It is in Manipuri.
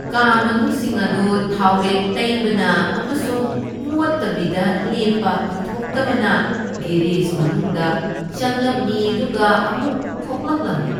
ꯀꯥ ꯃꯅꯨꯡꯁꯤꯡ ꯑꯗꯨ ꯊꯥꯎꯔꯦꯛ ꯇꯩꯕꯅ ꯑꯃꯁꯨꯡ ꯃꯣꯠꯇꯕꯤꯗ ꯂꯦꯞꯄ ꯑꯣꯏꯊꯣꯛꯇꯕꯅ ꯒꯦꯔꯦꯖ ꯃꯅꯨꯡꯗ ꯆꯪꯂꯝꯃꯤ ꯑꯗꯨꯒ ꯑꯃꯨꯛ ꯊꯣꯛꯂꯛꯂꯝꯃꯤ꯫